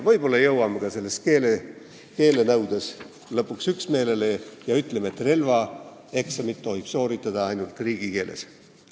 Võib-olla jõuame siis ka keelenõudes lõpuks üksmeelele ja ütleme, et relvaeksamit tohib sooritada ainult riigikeeles.